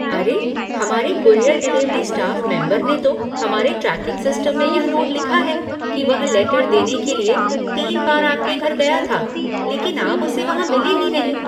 अरे, हमारे courier delivery staff member ने तो हमारे ट्रैकिंग सिस्टम में यह नोट लिखा है कि वह लेटर देने के लिए तीन बार आपके घर गया था, लेकिन आप उसे वहां मिले ही नहीं।